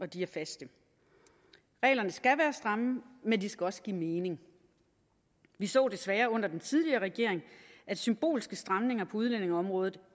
de er faste reglerne skal være stramme men de skal også give mening vi så desværre under den tidligere regering at symbolske stramninger på udlændingeområdet